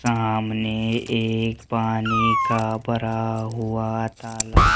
सामने एक पानी का भरा हुआ तालाब--